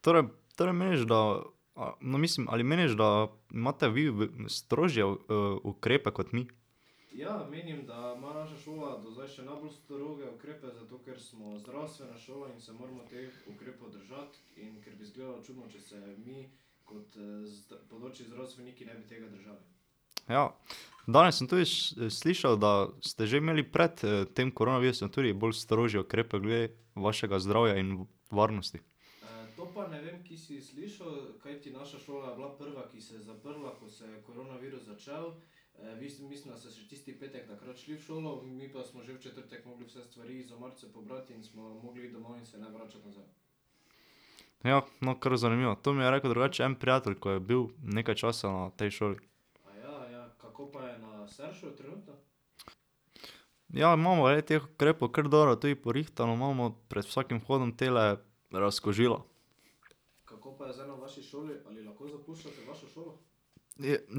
Torej, torej, meniš, da ... no, mislim, ali meniš, da imate vi strožje ukrepe kot mi? Ja. Danes sem tudi slišal, da ste že imeli pred tem koronavirusom tudi bolj strožje ukrepe glede vašega zdravja in varnosti. Ja. No, kar zanimivo. To mi je rekel drugače en prijatelj, ko je bil nekaj časa na tej šoli. Ja, imamo glede teh ukrepov kar dobro tudi porihtano, imamo pred vsakim vhodom tale razkužila.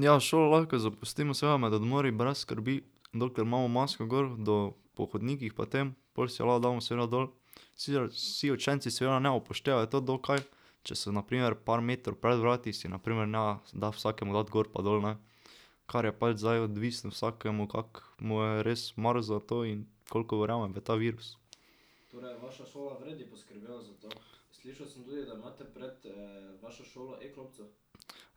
ja, šolo lahko zapustimo, seveda med odmori brez skrbi, dokler imamo masko gor do ... po hodnikih pa tem, pol si jo lahko damo seveda dol. Sicer vsi učenci seveda ne upoštevajo to dokaj, če se na primer par metrov pred vrati si na primer ne da vsakemu dati gor pa dol, ne. Kar je pač zdaj odvisno, vsakemu, kako mu je res mar za to in koliko verjame v ta virus.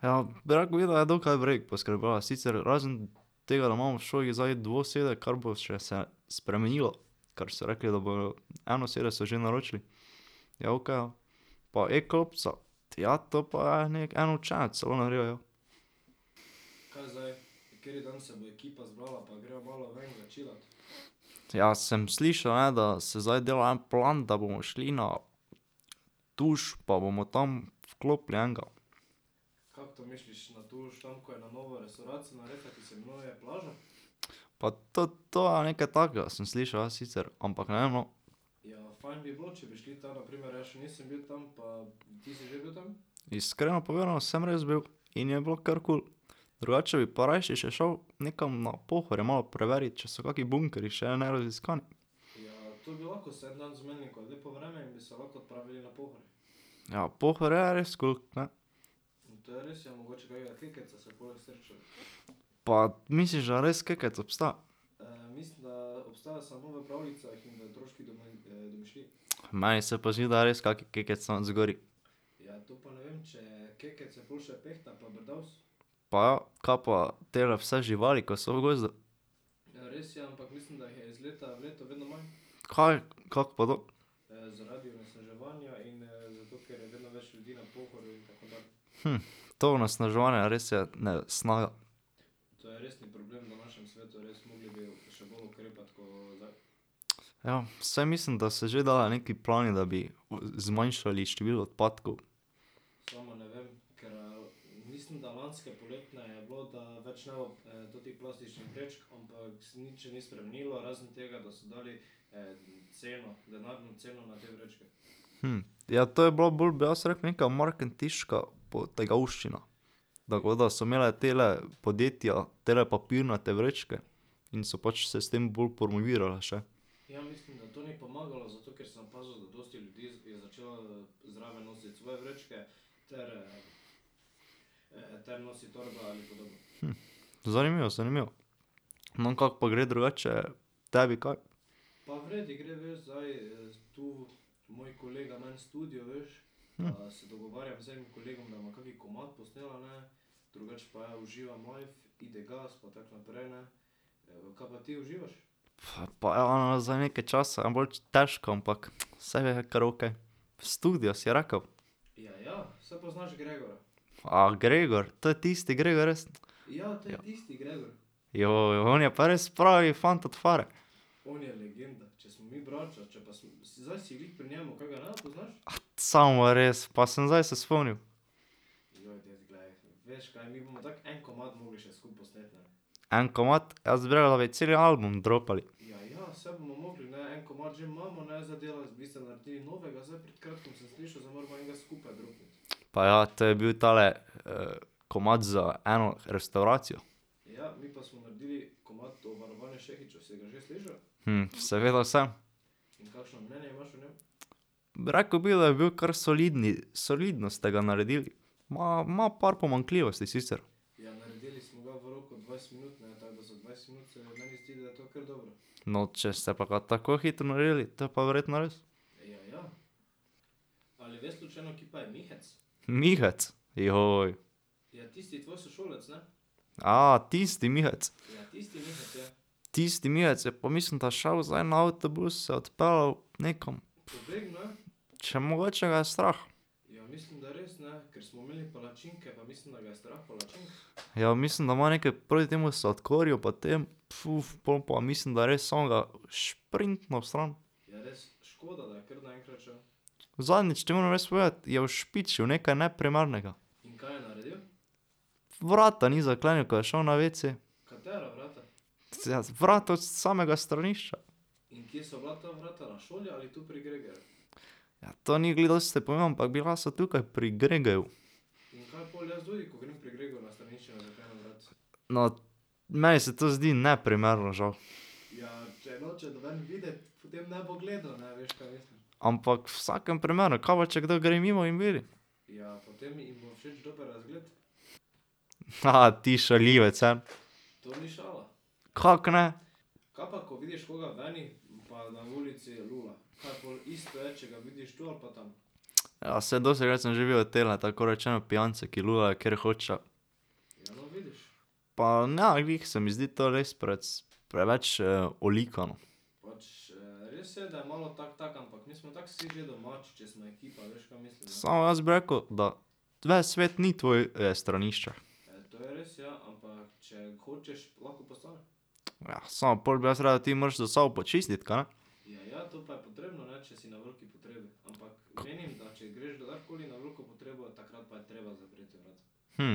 Ja, rekel bi, da je dokaj v redu poskrbela, sicer razen tega, da imamo v šoli zdaj dvosede, kar bo še se spremenilo. Kar so rekli, da bodo ... enosede so že naročili. Je okej, ja. Pa e-klopca, ja, to pa je neki, en učenec celo naredil jo. Ja, sem slišal, ne, da se zdaj dela en plan, da bomo šli na Tuš, pa bomo tam vklopili enega. Pa to to ja nekaj takega sem slišal, ja, sicer. Ampak ne vem, no. Iskreno povedano, sem res bil in je bilo kar kul. Drugače bi pa rajši še šel nekam na Pohorje malo preverit, če so kaki bunkerji še neraziskani. Ja, Pohorje je res kul, ne. Pa, misliš, da res Kekec obstaja? Meni se pa zdi, da je res kak Kekec tam zgoraj. Pa, ja. Kaj pa tele vse živali, ki so v gozdu? Kaj? Kako pa to? to onesnaževanje res je nesnajo. Ja, saj mislim, da se že delajo neki plani, da bi zmanjšali število odpadkov. ja, to je bila bolj, bi jaz rekel, nekaj marketinška potegavščina, tako da so imela tale podjetja, tele papirnate vrečke in so pač se s tem bolj promovirale še. zanimivo, zanimivo. No, kako pa gre drugače tebi kaj? Pa, pa ja, no, zdaj nekaj časa bolj težko, ampak saj karaoke. Studio si rekel? A Gregor, to je tisti Gregor, res? on je pa res pravi fant od fare. samo res, pa sem zdaj se spomnil. En komad? Jaz bi , da bi celi album dropali. Pa ja, to je bil tale, komad za eno restavracijo. seveda sem. Rekel bi, da je bil kar soliden. Solidno ste ga naredili. Ima, ima par pomanjkljivosti sicer. No, če ste pa ga tako hitro naredili, te pa verjetno res. Mihec? tisti Mihec? Tisti Mihec je pa, mislim, da šel zdaj na avtobus, se odpeljal nekam, Če mogoče ga je strah. Ja, mislim, da ima nekaj proti temu sladkorju pa tem, pol pa mislim, da je res samo da šprintnil stran. Zadnjič, ti moram res povedati, je ušpičil nekaj neprimernega. Vrata ni zaklenil, ko je šel na wc. Ja vrata od samega stranišča. Ja, to ni glih dosti pomembno, ampak bila so tukaj pri Gregeju. No ... meni se to zdi neprimerno, žal. Ampak, v vsakem primeru, kaj pa, če kdo gre mimo in vidi? Ti šaljivec, Kako ne? Ja, saj dostikrat sem že videl tele, tako rečeno, pijance, ki lulajo, kjer hočejo. Pa ne glih se mi zdi to res preveč, olikano. Samo jaz bi rekel, da ves svet ni tvoje stranišče. samo pol bi jaz rekel, da ti moraš za sabo počistiti, kaj ne?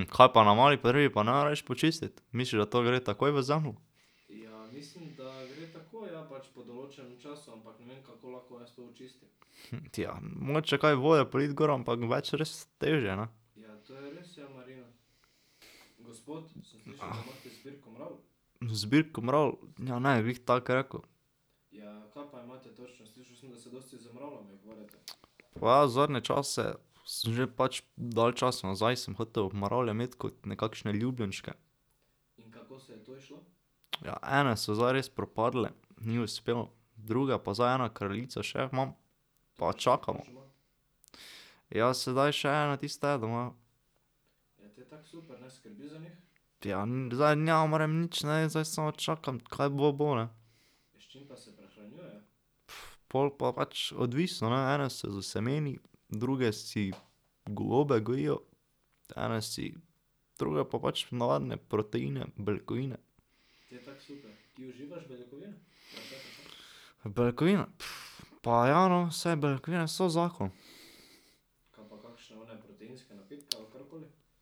kaj pa na mali potrebi pa ne rabiš počistiti? Misliš, da to gre takoj v zemljo? ja, mogoče kaj vode politi gor, ampak več res težje, ne. Zbirko mravelj? Ja, ne bi glih tako rekel. Pa ja zadnje čase sem že pač dalj časa nazaj sem hotel mravlje imeti kot nekakšne ljubljenčke. Ja, ene so zdaj res propadle, ni uspelo. Druge pa zdaj, ena kraljica še jo imam, pa čakamo. Ja, sedaj še ena tista je doma. Ja, zdaj ne morem nič, ne, zdaj samo čakam, kaj bo, bo, ne. pol pa pač odvisno, ne, ene se s semeni, druge si gobe gojijo, ene si ... druge pa pač navadne proteine, beljakovine. Beljakovine? pa ja, no, saj beljakovine so zakon.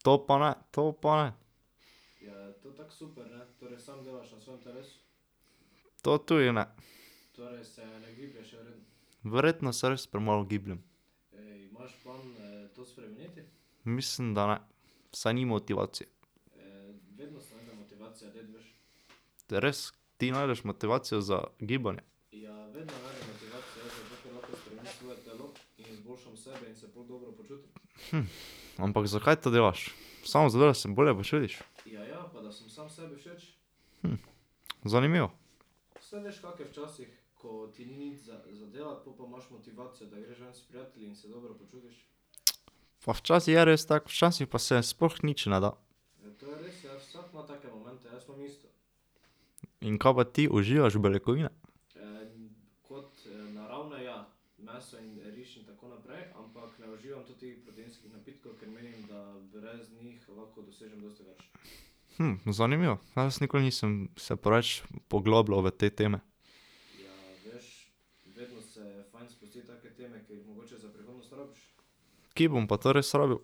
To pa ne, to pa ne. To tudi ne. Verjetno se res premalo gibljem. Mislim, da ne. Saj ni motivacije. To je res. Ti najdeš motivacijo za gibanje? ampak zakaj to delaš? Samo zato, da se bolje počutiš? zanimivo. Pa včasih je res tako, včasih pa se sploh nič ne da. In kaj pa ti, uživaš beljakovine? zanimivo. Jaz nikoli nisem se preveč poglabljal v te teme. Kje bom pa to res rabil?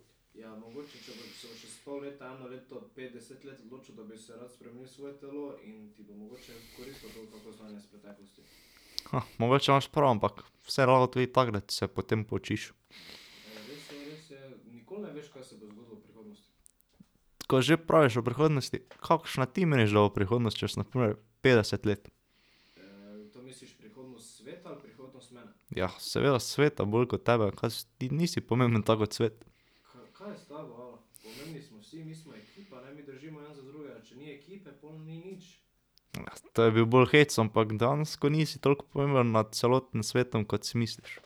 mogoče imaš prav, ampak se lahko tudi takrat se potem poučiš. Ko že praviš o prihodnosti, kakšna ti meniš, da bo prihodnost čez na primer petdeset let? seveda sveta bolj ko tebe. ti nisi pomemben tako kot svet. to je bil bolj hec, ampak dejansko nisi toliko pomemben nad celotnim svetom, kot si misliš.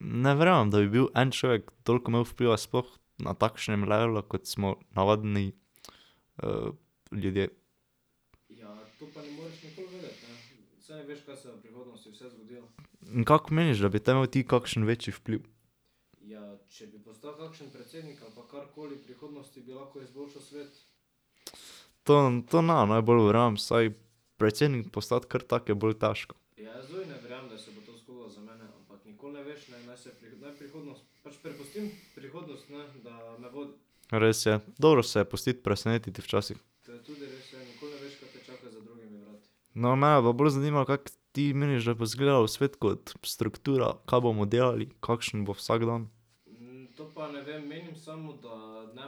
Ne verjamem, da bi bil en človek, toliko imel vpliva, sploh na takšnem levelu, kot smo navadni ljudje. Kako meniš, da bi te imel ti kakšen večji vpliv? To, to ne najbolj verjamem, saj predsednik postati kar tako je bolj težko. Res je. Dobro se je pustiti presenetiti včasih. No, mene pa bolj zanima, kako ti meniš, da bo izgledal svet kot struktura, kaj bomo delali, kakšen bo vsakdan? torej meniš, da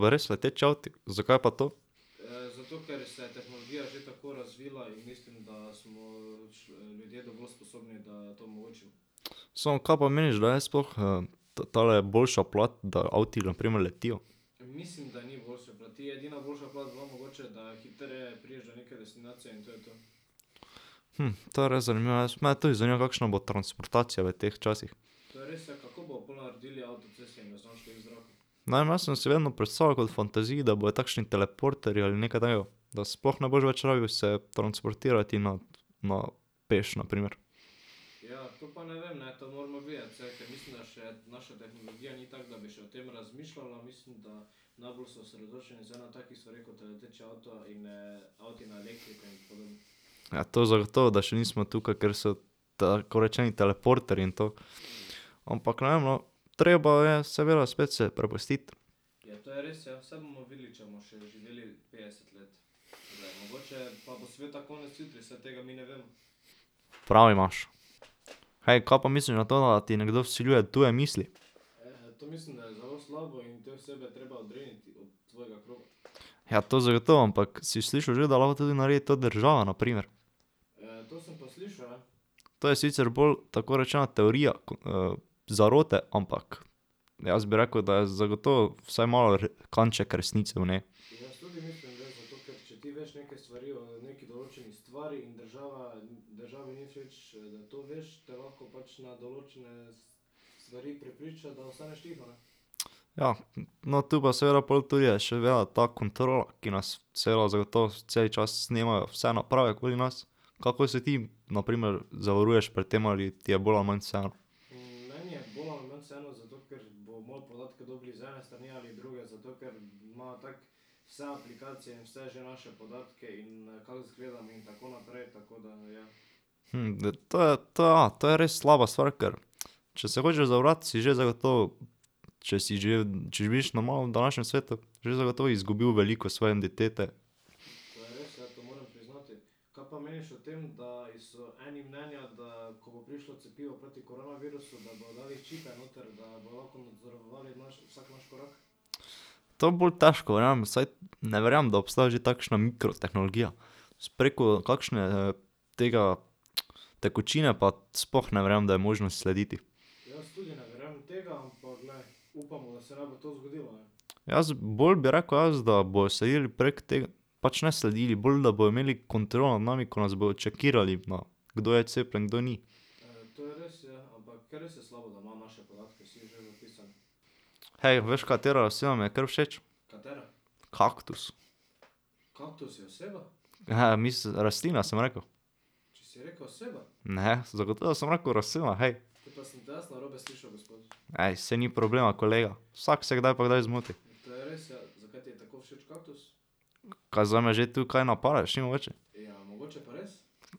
bojo res leteči avti? Zakaj pa to? Samo kaj pa meniš, da je sploh tale boljša plat, da avti na primer letijo? to je res zanimivo, jaz, mene tudi zanima, kakšna bo transportacija v teh časih. Ne vem, jaz sem si vedno predstavljal kot fantaziji, da bojo takšni teleporterji ali nekaj takega, da sploh ne boš več rabil se transportirati na, na, peš na primer. Ja, to zagotovo, da še nismo tukaj, kjer so tako rečeni teleporterji in to. Ampak ne vem, no, treba je seveda spet se prepustiti. Prav imaš. Hej, kaj pa misliš na to, da ti nekdo vsiljuje tuje misli? Ja, to zagotovo, ampak si slišal že, da lahko to tudi naredi to država na primer? To je sicer bolj, tako rečeno, teorija zarote, ampak jaz bi rekel, da je zagotovo vsaj malo kanček resnice v njej. Ja, no, to pa je seveda pol tudi je še veda ta kontrola, ki nas celo zagotovo celi čas snemajo, vse naprave okoli nas. Kako se ti na primer zavaruješ pred tem ali ti je bolj ali manj vseeno? to je, to je, ja, to je res slaba stvar, ker če se hočeš zavarovati, si že zagotovo, če si že, če živiš normalno na današnjem svetu, že zagotovo izgubil veliko svoje identitete. To bolj težko verjamem, vsaj ... Ne verjamem, da obstaja že takšna mikrotehnologija. Preko kakšne tega, tekočine, pa sploh ne verjamem, da je možno slediti. Jaz, bolj bi rekel jaz, da bojo sledili prek pač ne sledili, bolj, da bojo imeli kontrolo nad nami, ko nas bojo čekirali na, kdo je cepljen in kdo ni. Hej, veš, katera oseba mi je kar všeč? Kaktus. rastlina sem rekel. Ne, zagotovo sem rekel rastlina, hej. Ej, saj ni problema, kolega. Vsak se kdaj pa kdaj zmoti. Kaj zdaj me že tu kaj napadaš ti mogoče?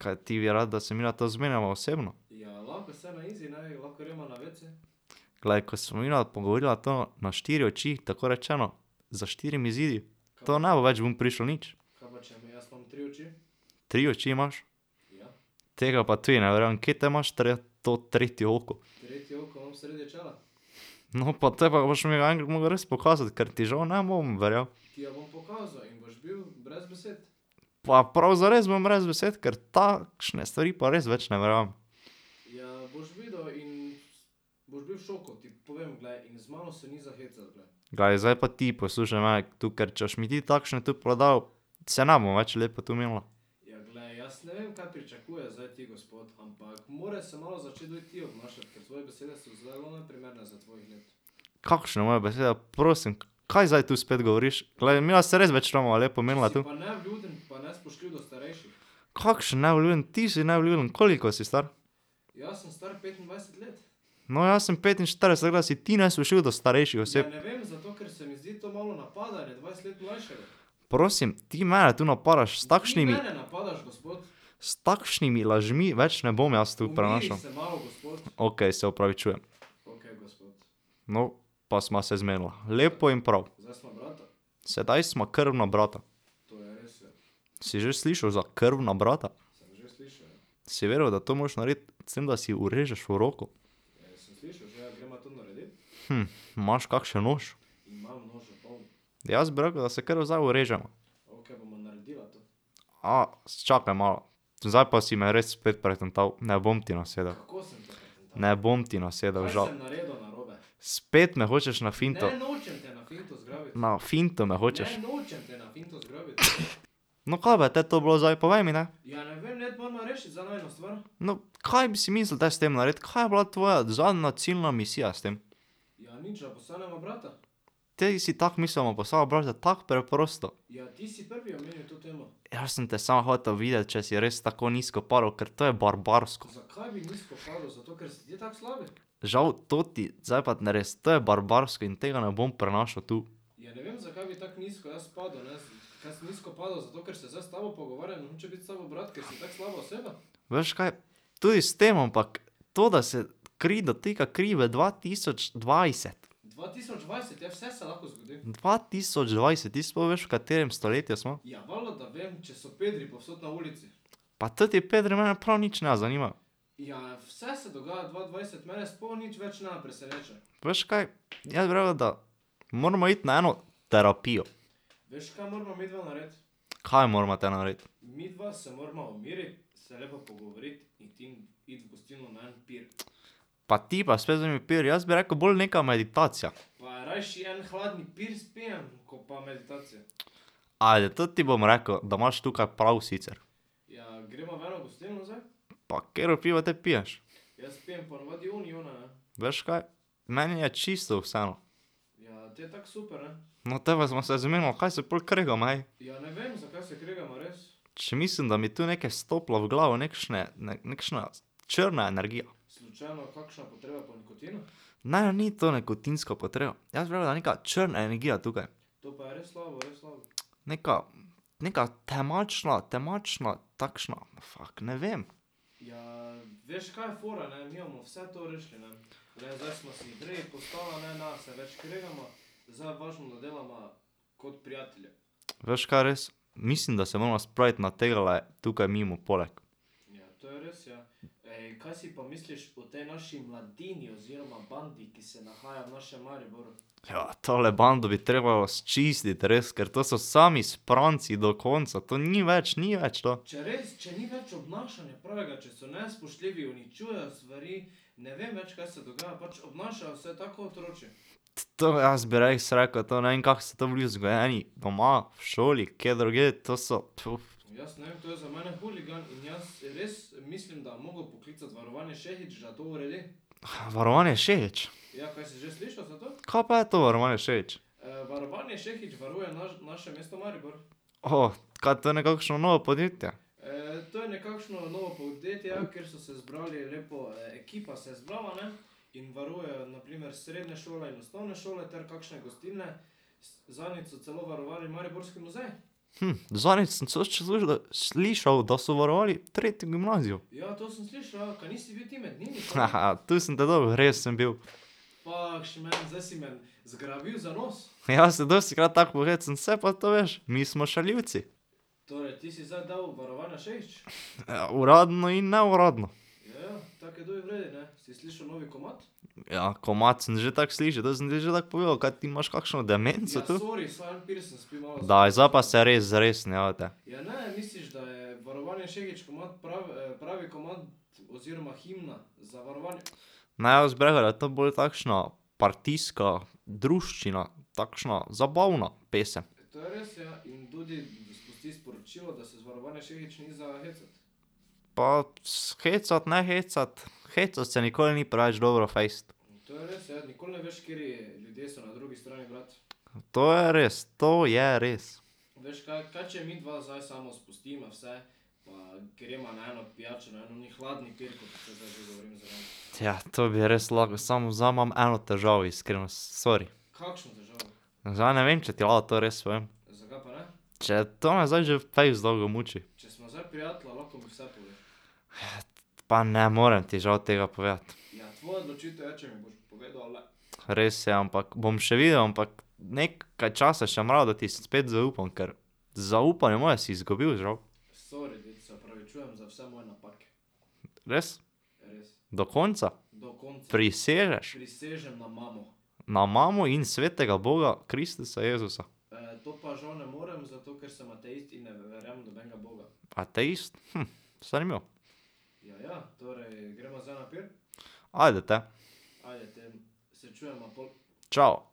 Kaj ti bi rad, da se midva to zmeniva osebno? Glej, ko se bova midva pogovorila to na štiri oči, tako rečeno, za štirimi zidovi, to ne bo več vun prišlo nič. Tri oči imaš? Tega pa tudi ne verjamem. Kaj te imaš to tretje oko? No, pa te pa boš mi enkrat moral res pokazati, ker ti žal ne bom verjel. Pa, prav zares bom brez besed, ker takšne stvari pa res več ne verjamem. Glej, zdaj pa ti poslušaj mene tu, ker če boš mi ti takšne tu prodal, se ne bomo več lepo tu menila. Kakšne moje besede, prosim, kaj zdaj to spet govoriš? Glej, midva se res več ne bova lepo menila. Kakšen nevljuden? Ti si nevljuden. Koliko si star? No, jaz sem petinštirideset, tako da si ti nespoštljiv do starejših oseb. Prosim? Ti mene tu napadaš s takšnimi ... S takšnimi lažmi več ne bom jaz tu prenašal. Okej, se opravičujem. No, pa sva se zmenila. Lepo in prav. Sedaj sva krvna brata. Si že slišal za krvna brata? Si vedel, da to moraš narediti s tem, da si vrežeš v roko? imaš kakšen nož? Jaz bi rekel, da se kar zdaj vrževa. čakaj malo, zdaj pa si me res spet pretental, ne bom ti nasedel. Ne bom ti nasedel, žal. Spet me hočeš na finto ... Na finto me hočeš. No, kaj pa je te to bilo zdaj, povej mi, ne. No, kaj bi si mislil te s tem narediti? Kaj je bila tvoja zadnja, ciljna misija s tem? Tej si tako mislil, da bova postala brata? Tako preprosto? Jaz sem te samo hotel videti, če si res tako nizko padel, ker to je barbarsko. Žal, to ti, zdaj pa res, to je barbarsko in tega ne bom prenašal tu. Veš kaj? Tudi s tem, ampak to, da se kri dotika kri v dva tisoč dvajset. Dva tisoč dvajset, ti sploh veš, v katerem stoletju smo? Pa toti pedri mene prav nič ne zanimajo. Veš kaj? Jaz bi rekel, da moramo iti na eno terapijo. Kaj morava te narediti? Pa ti pa spet z onimi piri, jaz bi rekel bolj neka meditacija. Ajde, to ti bom rekel, da imaš tukaj prav, sicer. Pa katero pivo te piješ? Veš kaj? Meni je čisto vseeno. No, te pa sva se zmenila, kaj se pol kregava, ej? Če mislim, da mi je tu nekaj stopilo v glavo, nekšne, nekšna ... črna energija. Ne, ni to nikotinska potreba. Jaz bi rekel, da je neka črna energija tukaj. Neka, neka temačna, temačna, takšna ... fak, ne vem. Veš, kaj je res? Mislim, da se morava spraviti na tegale tukaj mimo poleg. tole bando bi trebalo sčistiti, res, ker to so sami spranci do konca. To ni več, ni več to. To jaz bi res rekel, to ne vem, kako so to bili vzgojeni, doma, v šoli, kje drugje, to so ... Varovanje Šehić? Kaj pa je to, varovanje Šehić? kaj to je nekakšno novo podjetje? zadnjič sem celo slišal, da so varovali tretjo gimnazijo. tu sem te dobil, res sem bil. se dostikrat tako pohecam. Saj pa to veš, mi smo šaljivci. uradno in neuradno. Ja, komad sem že tako slišal, to sem ti že tako povedal. Kaj ti imaš kakšno demenco tu? Daj, zdaj pa se res zresni, jebote. Ne, jaz bi rekel, da je to bolj takšna partijska druščina, takšna zabavna pesem. Pa, hecati, ne hecati. Hecati se nikoli ni preveč dobro fejst. To je res. To je res. to bi res lahko, samo zdaj imam eno težavo, iskreno. Sori. Zdaj ne vem, če ti lahko to res povem. Če to me zdaj že fejst dolgo muči. pa ne morem ti žal tega povedati. Res je, ampak bom še videl, ampak nekaj časa še bom rabil, da ti spet zaupam. Ker zaupanje moje si zgubil, žal. Res? Do konca? Prisežeš? Na mamo in svetega boga Kristusa Jezusa. Ateist? zanimivo. Ajde, te. Čao.